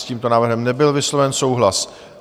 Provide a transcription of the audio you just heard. S tímto návrhem nebyl vysloven souhlas.